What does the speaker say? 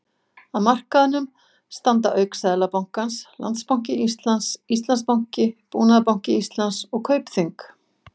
Að markaðnum standa auk Seðlabankans, Landsbanki Íslands, Íslandsbanki, Búnaðarbanki Íslands og Kaupþing.